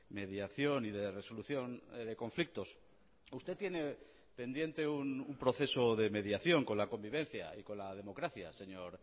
mediación y de resolución de conflictos usted tiene pendiente un proceso de mediación con la convivencia y con la democracia señor